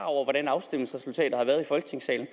over hvordan afstemningsresultatet har været i folketingssalen